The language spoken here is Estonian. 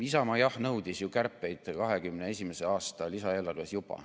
Isamaa nõudis kärpeid juba 2021. aasta lisaeelarves.